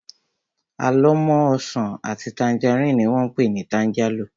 Àlọ́mọ́ ọsàn àti tangerine ni wón pé ni tangerlo